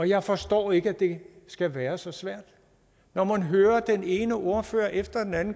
jeg forstår ikke at det skal være så svært når man hører den ene ordfører efter den anden